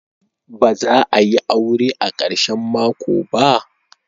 Ba za a yi aure a karshen mako ba?